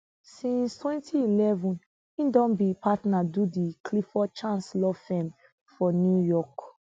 since 2011 e don be partner do di clifford chance law firm for new york